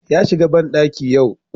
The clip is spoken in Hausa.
Ya shiga bandaki yau